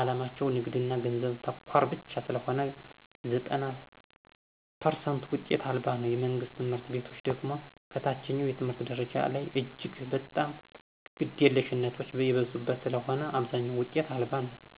ዓላማቸው ንግድና ገንዘብ ተኮር ብቻ ስለሆነ ዘጠና ፐርሰንቱ ውጤት አልባ ነው። የመንግስት ትምህርት ቤቶች ደግሞ ከታችኛው የትምህርት ደረጃ ላይ እጅግ በጣም ግደለሽነቶች የበዙበት ስለሆነ አብዛኛው ውጤት አልባ ነው።